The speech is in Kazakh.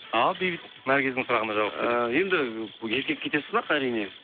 ал бейбіт наргиздің сұрағына жауап енді еркекке де сынақ әрине